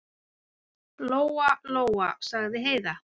Lóa-Lóa, sagði Heiða.